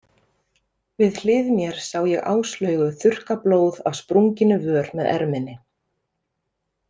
Við hlið mér sá ég Áslaugu þurrka blóð af sprunginni vör með erminni.